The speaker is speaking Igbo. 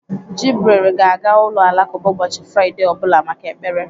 Jibril ga-aga ụlọ alakụba ụbọchị Fraịde ọ bụla maka ekpere.